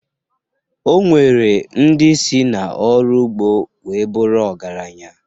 O nwere ndị si n'ọrụ ugbo wee bụrụ ọgaranya